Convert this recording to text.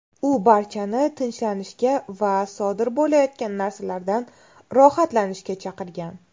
U barchani tinchlanishga va sodir bo‘layotgan narsalardan rohatlanishga chaqirgan.